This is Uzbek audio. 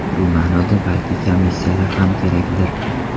Shu ma’noda balki komissiyalar ham kerakdir.